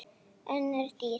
Önnur dýr